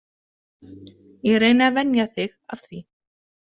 Ég reyni að venja þig af því.